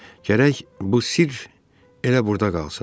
Gərək bu sidr elə burda qalsın.